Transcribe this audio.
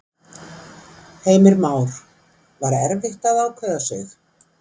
Heimir Már: Var erfitt að ákveða sig?